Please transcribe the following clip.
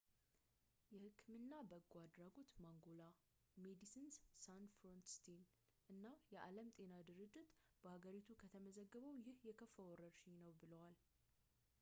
የህክምና በጎ አድራጎት ማንጎላ ፣ ሜዲሲንስ ሳንስ ፍሮንቲርስ እና የዓለም ጤና ድርጅት በሀገሪቱ ከተመዘገበው ይህ የከፋ ወረርሽኝ ነው ብለዋል